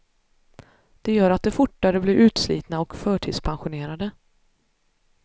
Det gör att de fortare blir utslitna och förtidspensionerade.